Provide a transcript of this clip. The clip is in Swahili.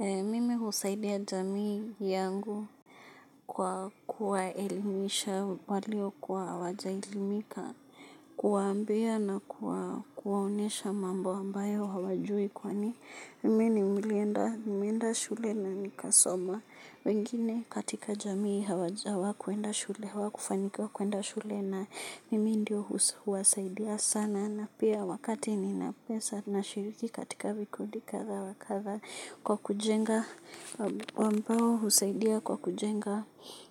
Mimi husaidia jamii yangu kwa kuwaelimisha waliokuwa hawajaelimika kuwaambiwa na kuwaonyesha mambo ambayo hawajui kwani mimi nilienda shule na nikasoma wengine katika jamii hawakuenda shule, hawakufanyika kuenda shule na mimi ndio huwasaidia sana na pia wakati nina pesa nashiriki katika vikundi kadha wa kadha kwa kujenga ambao husaidia kwa kujenga